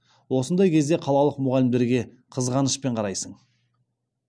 осындай кезде қалалық мұғалімдерге қызғанышпен қарайсың